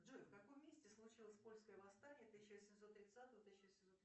джой в каком месте случилось польское восстание тысяча восемьсот тридцатого тысяча восемьсот